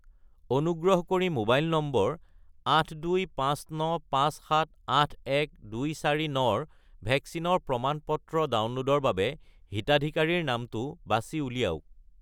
অনুগ্ৰহ কৰি mobile number 82595781249 -ৰ ভেকচিনৰ প্ৰমাণ-পত্ৰ ডাউনলোডৰ বাবে হিতাধিকাৰীৰ নামটো বাছি উলিয়াওক।